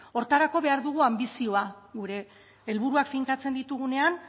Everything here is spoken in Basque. horretarako behar dugu anbizioa gure helburuak finkatzen ditugunean